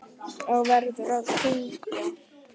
Og verður að kyngja.